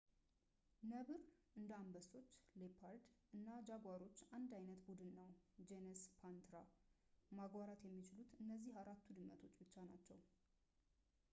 ነብር እንደ አንበሶች፣ ሌፐርድ እና ጃጓሮች አንድ ዓይነት ቡድን ውስጥ ነው ጀነስ ፓንትራ። ማጓራት የሚችሉት እነዚህ አራቱ ድመቶች ብቻ ናቸው